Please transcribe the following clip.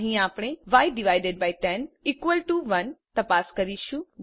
અહીં આપણે y101 તપાસ કરીશું